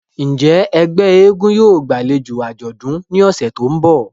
Njẹ ẹgbẹ èègún yóò gbalejo ajọdun ni ọsẹ to nbọ?